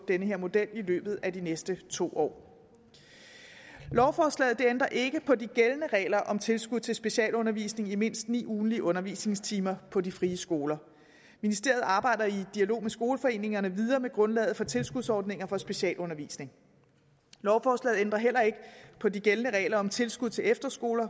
den her model i løbet af de næste to år lovforslaget ændrer ikke på de gældende regler om tilskud til specialundervisning i mindst ni ugentlige undervisningstimer på de frie skoler ministeriet arbejder i dialog med skoleforeningerne videre med grundlaget for tilskudsordninger for specialundervisning lovforslaget ændrer heller ikke på de gældende regler om tilskud til efterskoler